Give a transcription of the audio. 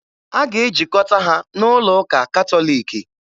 A ga-ejikọta ha n'ụlọ ụka Katọliki.